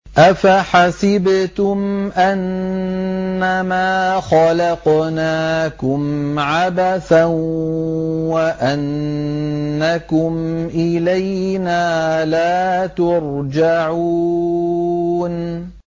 أَفَحَسِبْتُمْ أَنَّمَا خَلَقْنَاكُمْ عَبَثًا وَأَنَّكُمْ إِلَيْنَا لَا تُرْجَعُونَ